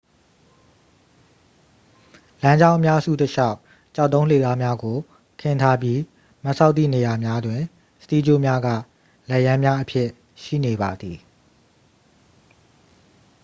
"""လမ်းကြောင်း အများစု တစ်လျှောက် ကျောက်တုံးလှေကားများကို ခင်းထားပြီး မတ်စောက်သည့်နေရာများတွင် စတီးကြိုးများက လက်ရန်းများအဖြစ် ရှိနေပါသည်။""